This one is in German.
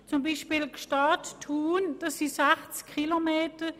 Zum Beispiel beträgt die Strecke Gstaad–Thun 60 Kilometer.